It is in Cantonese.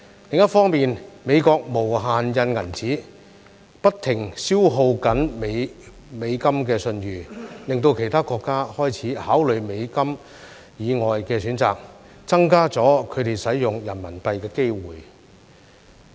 另一方面，美國無限"印銀紙"，不停消耗美元的信譽，令其他國家開始考慮美元以外的選擇，增加了他們使用人民幣的機會。